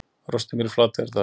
Rostungur í Flateyjardal